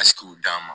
Aski daa